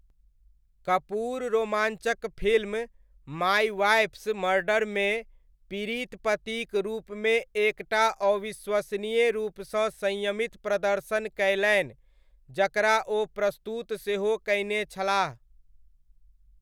कपूर रोमाञ्चक film my wife's मर्डरमे पीड़ित पतिक रूपमे एक टा अविश्वसनीय रूपसँ संयमित प्रदर्शन कयलनि, जकरा ओ प्रस्तुत सेहो कयने छलाह।